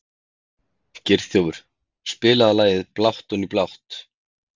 Geirþjófur, spilaðu lagið „Blátt oní blátt“.